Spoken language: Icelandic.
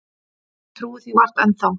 Ég trúi því vart enn þá.